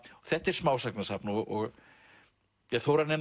þetta er smásagnasafn og Þórarinn er